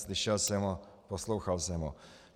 Slyšel jsem ho, poslouchal jsem ho.